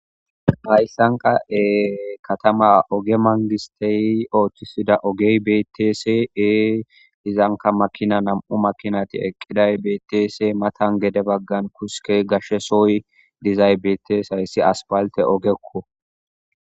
Hayssan kattama oge manggistey oththisida ogey beetees,izankka nam''u makinatti eqqidayssi betes,iza matara gashe suuqey dizayssi betees,hayssi asfaltte ogekko.